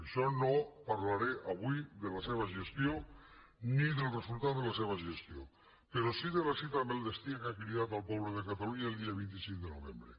per això no parlaré avui de la seva gestió ni del resultat de la seva gestió però sí de la cita amb el destí a què ha cridat el poble de catalunya el dia vint cinc de novembre